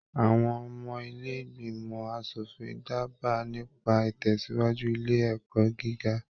Àwọn ọmọ ilé ìgbìmọ̀ aṣòfin daba nípa itẹsiwaju ilé ẹ̀kọ́ gíga.